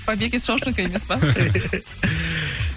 побег из шоушинга емес па